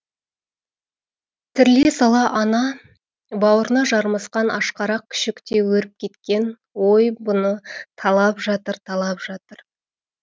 тіріле сала ана бауырына жармасқан ашқарақ күшіктей өріп кеткен ой бұны талап жатыр талап жатыр